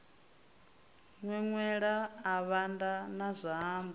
ṅweṅwela a vhanda na zwanḓa